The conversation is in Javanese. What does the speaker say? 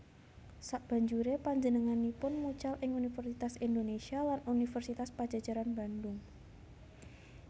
Sabanjuré panjenenganipun mucal ing Universitas Indonesia lan Universitas Padjadjaran Bandung